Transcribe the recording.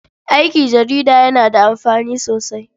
Aiki jarida yana da amfani sosai.